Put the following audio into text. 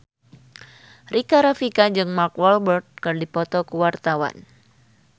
Rika Rafika jeung Mark Walberg keur dipoto ku wartawan